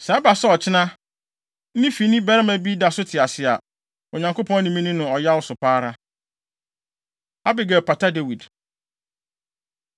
Sɛ ɛba sɛ ɔkyena ne fini barima bi da so te ase a, Onyankopɔn ne me nni no ɔyaw so pa ara.” Abigail Pata Dawid